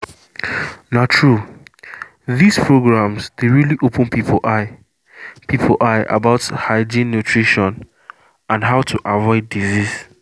na true these programs dey really open people eye people eye about hygiene nutrition and how to avoid disease